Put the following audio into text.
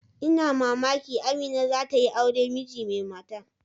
Ina mamaki Amina za ta yi aure miji mai mata.